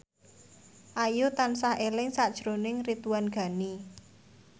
Ayu tansah eling sakjroning Ridwan Ghani